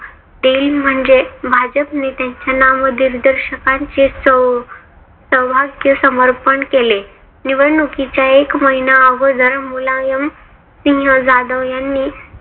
देईल. म्हणजे भाजप नेत्यांच्या नामदिग्दर्शकांचे सौ सौभाग्य समर्पण केले. निवडणुकीच्या एक महिना अगोदर मुलायमसिंह जाधव यांनी